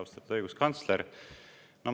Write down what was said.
Austatud õiguskantsler!